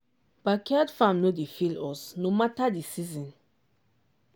backyard farm no dey fail us no matter the season.